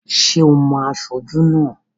Ṣé ò mo aṣojú náà?